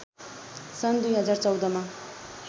सन् २०१४ मा